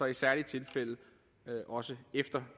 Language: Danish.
i særlige tilfælde også efter